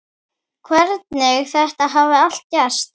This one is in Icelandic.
Hvernig þetta hafi allt gerst.